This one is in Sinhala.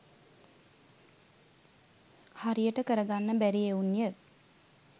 හරියට කරගන්න බැරි එවුන්ය.